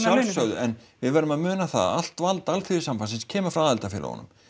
að sjálfsögðu en við verðum að muna það að allt vald Alþýðusambandsins kemur frá aðildarfélögunum